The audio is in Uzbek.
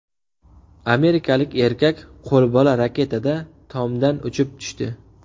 Amerikalik erkak qo‘lbola raketada tomdan uchib tushdi.